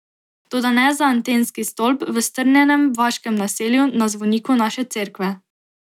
Toda ne za antenski stolp v strnjenem vaškem naselju na zvoniku naše cerkve.